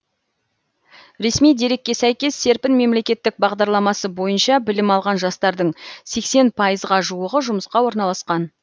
ресми дерекке сәйкес серпін мемлекеттік бағдарламасы бойныша білім алған жастардың сексен пайызға жуығы жұмысқа орналасқан